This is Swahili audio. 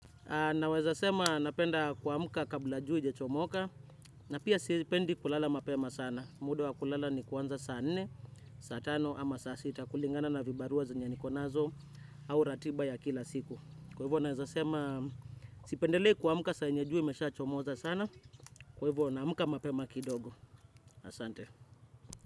Naweza sema napenda kuamka kabla jua haijachomoka. Na pia sipendi kulala mapema sana. Muda wa kulala ni kuanza saa nne, saa tano ama saa sita. Kulingana na vibarua zenye niko nazo au ratiba ya kila siku. Kwa hivyo naeza sema sipendelei kuamka saa yenye jua imeshachomoza sana. Kwa hivyo naamka mapema kidogo. Asante.